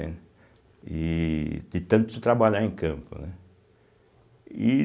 E de tanto trabalhar em campo, né? E